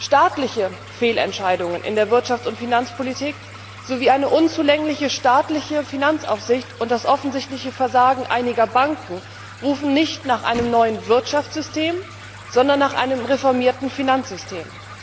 Staatliche Fehlentscheidungen in der Wirtschafts und Finanzpolitik sowie eine unzulängliche staatliche Finanzaufsicht und das offensichtliche Versagen einiger Banken rufen nicht nach einem neuen Wirtschaftssystem, sondern nach einem reformierten Finanzsystem.